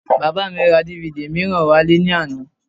Bàbá mi ra DVD mìíràn wálé ní àná